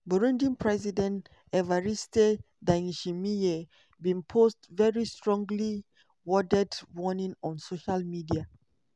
burundi president evariste ndayishimiye bin post very strongly-worded warning on social media.